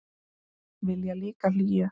Vilja líka hlýju.